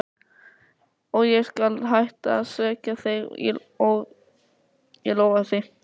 Og ég skal hætta að svekkja þig, ég lofa því.